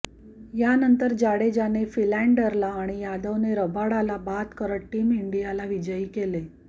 यानंतर जाडेजाने फिलँडर आणि यादवने रबाडाला बाद करत टीम इंडियाला विजयी केले